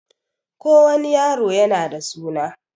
Ko wani yaro yana da suna